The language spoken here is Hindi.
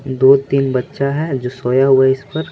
दो-तीन बच्चा है जो सोया हुआ है इस पर।